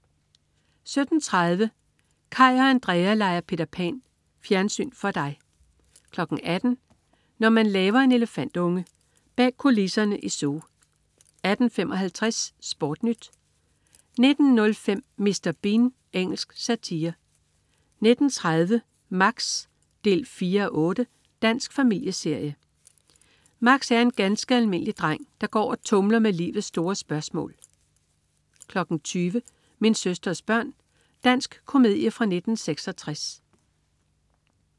17.30 Kaj og Andrea leger Peter Pan. Fjernsyn for dig 18.00 Når man laver en elefantunge. Bag kulisserne i zoo 18.55 SportNyt 19.05 Mr. Bean. Engelsk satire 19.30 Max 4:8. Dansk familieserie. Max er en ganske almindelig dreng, der går og tumler med livets store spørgsmål 20.00 Min søsters børn. Dansk komedie fra 1966